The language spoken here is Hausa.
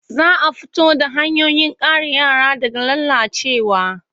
Za a fito da hanyoyin kare yara daga lalacewa.